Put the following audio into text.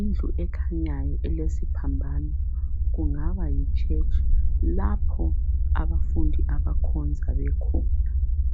indlu ekhanyayo elesiphambano kungaba yichurch lapho abafundi akhonza bekhona